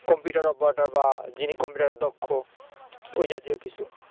computer operator বা যিনি কম্পিউটারে দক্ষ ওই জাতীয় কিছু